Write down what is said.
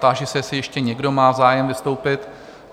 Táži se, jestli ještě někdo má zájem vystoupit?